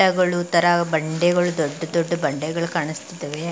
ಗಳು ತರ ಬಂಡೆಗಳು ದೊಡ್ಡ ದೊಡ್ಡ ಬಂಡೆಗಳು ಕಾಣಿಸ್ತಿದ್ದಾವೆ.